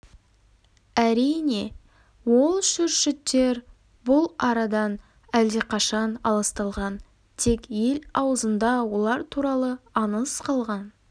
әрине ол шүршіттер бұл арадан әлдеқашан аласталған тек ел аузында олар туралы аңыз қалған